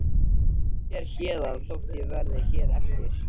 Ég fer héðan þótt ég verði hér eftir.